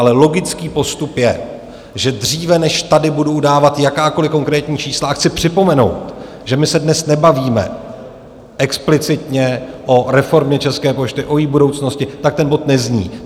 Ale logický postup je, že dříve, než tady budu udávat jakákoliv konkrétní čísla - a chci připomenout, že my se dnes nebavíme explicitně o reformě České pošty, o její budoucnosti, tak ten bod nezní.